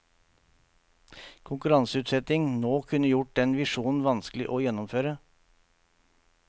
Konkurranseutsetting nå kunne gjort den visjonen vanskelig å gjennomføre.